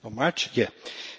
Signor